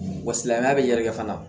Wa silamɛya bɛ yɛrɛkɛ fana